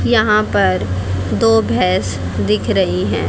यहां पर दो भैंस दिख रही हैं।